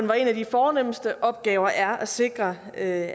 hvor en af de fornemste opgaver er at sikre at